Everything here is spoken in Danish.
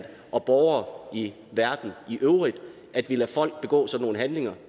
og i verden i øvrigt at vi lader folk begå sådan nogle handlinger